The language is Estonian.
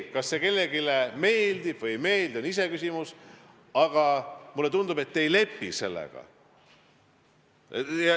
Kas see kellelegi meeldib või ei meeldi, on iseküsimus, aga mulle tundub, et te ei lepi sellega.